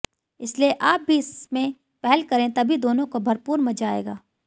इसलिए आप भी इसमें पहल करें तभी दोनों को भरपूर मज़ा आएगा